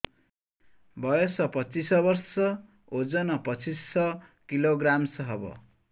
ବୟସ ପଚିଶ ବର୍ଷ ଓଜନ ପଚିଶ କିଲୋଗ୍ରାମସ ହବ